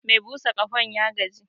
Me busa ƙahon ya gaji